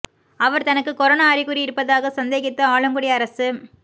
அவர் தனக்கு கொரோனா அறிகுறி இருப்பதாக சந்தேகித்து ஆலங்குடி அரசு